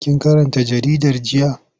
Kin karanta jaridar jiya?